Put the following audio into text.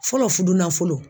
Fɔlɔ fudunafolo